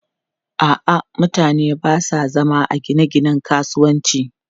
A'a, mutane ba sa zama a gine-ginen kasuwanci.